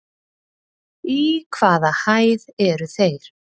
Í hvaða hæð eru þeir?